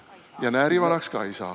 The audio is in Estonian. Ja näärivanaks ka ei saa.